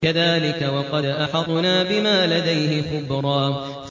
كَذَٰلِكَ وَقَدْ أَحَطْنَا بِمَا لَدَيْهِ خُبْرًا